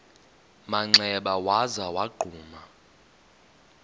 manxeba waza wagquma